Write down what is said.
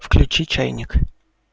включи чайник